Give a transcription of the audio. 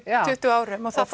tuttugu árum og það